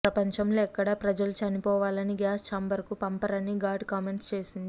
ప్రపంచంలో ఎక్కడా ప్రజలు చనిపోవాలని గ్యాస్ ఛాంబర్ కు పంపరని ఘాటు కామెంట్స్ చేసింది